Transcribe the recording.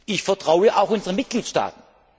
Ich vertraue auch unseren Mitgliedstaaten.